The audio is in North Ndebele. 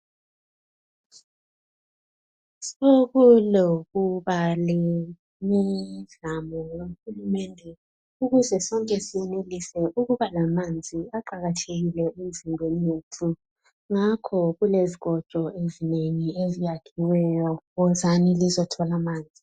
Sokulokuba lemizamo kahulumende ukuze sonke siyenelise ukuba lamanzi aqakathekile emzimbeni yethu ngakho kulezikotsho ezinengi eziyakhiweyo wozani lizothola amanzi